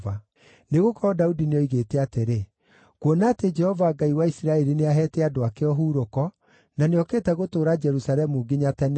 Nĩgũkorwo Daudi nĩoigĩte atĩrĩ, “Kuona atĩ Jehova Ngai wa Isiraeli nĩaheete andũ ake ũhurũko, na nĩokĩte gũtũũra Jerusalemu nginya tene-rĩ,